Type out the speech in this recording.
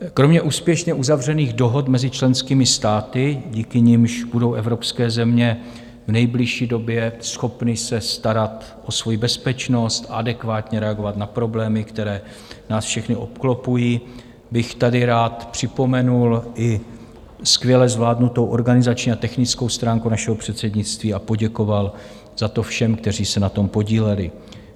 Kromě úspěšně uzavřených dohod mezi členskými státy, díky nimž budou evropské země v nejbližší době schopny se starat o svou bezpečnost a adekvátně reagovat na problémy, které nás všechny obklopují, bych tady rád připomenul i skvěle zvládnutou organizační a technickou stránku našeho předsednictví a poděkoval za to všem, kteří se na tom podíleli.